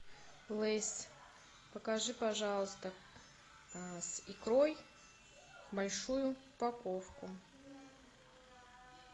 лейс покажи пожалуйста с икрой большую упаковку